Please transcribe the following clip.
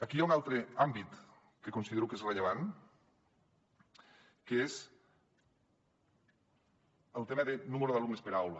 aquí hi ha un altre àmbit que considero que és rellevant què és el tema del nombre d’alumnes per aula